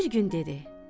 Bir gün dedi: